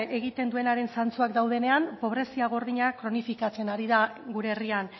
egiten duenaren zantzuak daudenean pobrezia gordina kronifikatzen ari da gure herrian